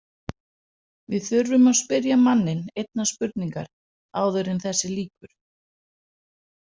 Við þurfum að spyrja manninn einnar spurningar áður en þessu lýkur.